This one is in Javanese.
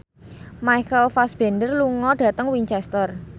Michael Fassbender lunga dhateng Winchester